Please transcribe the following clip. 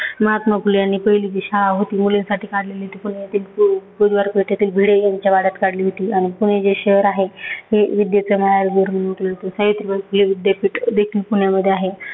महात्मा फुले यांनी पहिली जी शाळा होती मुलींसाठी काढलेली ती पण इथेच बु बुधवारपेठेतील भिडे यांच्या वाड्यात काढली होती आणि पुणे जे शहर आहे हे विद्येचं माहेरघर म्हणून ओळखलं जातं. सावित्रीबाई फुले विद्यापीठ देखील पुण्यामध्ये आहे.